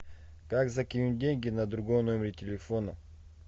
как закинуть деньги на другой номер телефона